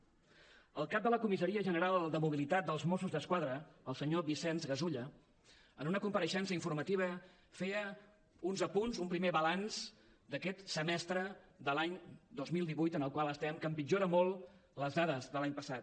el cap de la comissaria general de mobilitat dels mossos d’esquadra el senyor vicenç gasulla en una compareixença informativa feia uns apunts un primer balanç d’aquest semestre de l’any dos mil divuit en el qual estem que empitjora molt les dades de l’any passat